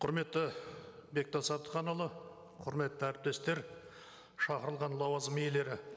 құрметті бектас әбдіханұлы құрметті әріптестер шақырылған лауазым иелері